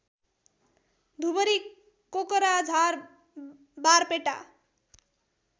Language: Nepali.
धुबरी कोकराझार बारपेटा